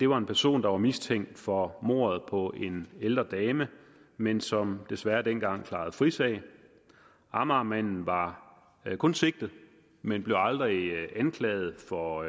var en person der var mistænkt for mordet på en ældre dame men som desværre dengang klarede frisag amagermanden var kun sigtet men blev aldrig anklaget for